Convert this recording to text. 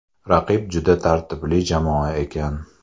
Raqib juda tartibli jamoa ekan.